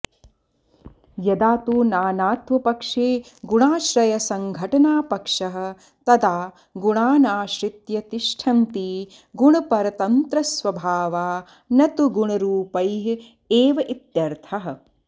यदा तु नानात्वपक्षे गुणाश्रयसङ्घटनापक्षः तदा गुणानाश्रित्य तिष्ठन्ती गुणपरतन्त्रस्वभावा न तु गुणरूपैवेत्यर्थः